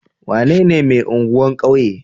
Wanene mai anguwan kauye?